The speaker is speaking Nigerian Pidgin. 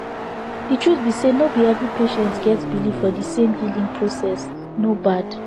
the truth be say no be every patients get believe for the same healing processe no bad